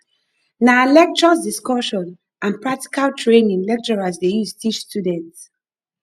nah lectures discussion and practical training lecturers dey use teach students